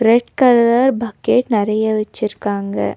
Red colour bucket நெறைய வெச்சிருக்காங்க.